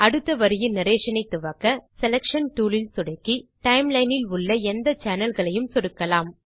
அடுத்த வரியின் நரேஷன் ஐ துவக்க செலக்ஷன் toolல் சொடுக்கி timelineஇல் உள்ள எந்த சேனல் களையும் சொடுக்கலாம்